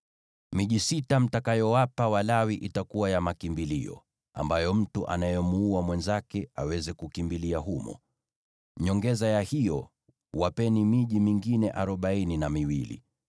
“Miji sita mtakayowapa Walawi itakuwa ya makimbilio, ambayo mtu anayemuua mwenzake aweza kukimbilia humo. Zaidi ya hiyo, wapeni miji mingine arobaini na miwili.